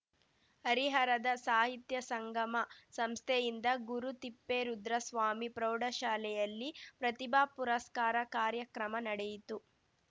ಹರಿಹರದ ಸಾಹಿತ್ಯ ಸಂಗಮ ಸಂಸ್ಥೆಯಿಂದ ಗುರುತಿಪ್ಪೇರುದ್ರಸ್ವಾಮಿ ಪ್ರೌಢಶಾಲೆಯಲ್ಲಿ ಪ್ರತಿಭಾ ಪುರಸ್ಕಾರ ಕಾರ್ಯಕ್ರಮ ನಡೆಯಿತು